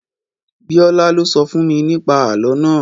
Bíọ́lá lo sọ fún mi ní pa àlọ́ naa